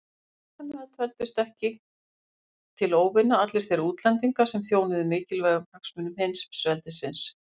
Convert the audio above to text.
Og vitanlega töldust ekki til óvina allir þeir útlendingar sem þjónuðu mikilvægum hagsmunum heimsveldisins.